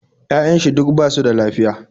Ya'yan shi duk basu da lafiya